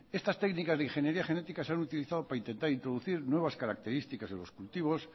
estas técnicas de ingeniería genética se han utilizado para intentar introducir nuevas características a los cultivos